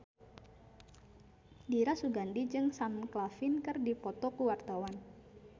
Dira Sugandi jeung Sam Claflin keur dipoto ku wartawan